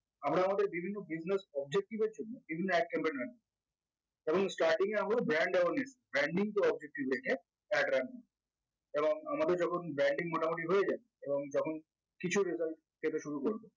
আমরা আমাদের বিভিন্ন business objective এর জন্য বিভিন্ন ad compartment এবং starting এ আমরা brand awareness branding to objective এ ad রাখবো এবং আমাদের যখন branding মোটামুটি হয়ে যাই এবং যখন কিছু result পেতে শুরু করব